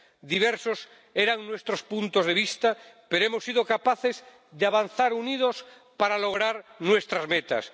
Diversos eran nuestros puntos de vista, pero hemos sido capaces de avanzar unidos para lograr nuestras metas.